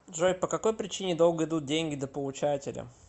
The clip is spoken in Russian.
джой по какой причине долго идут деньги до получателя